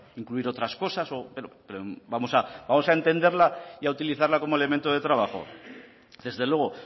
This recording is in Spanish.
incluir otras cosas vamos a entenderla y a utilizarla como elemento de trabajo desde luego